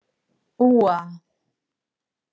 Úa